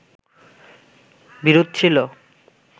বিরোধ ছিলো